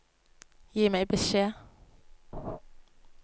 Gi meg beskjed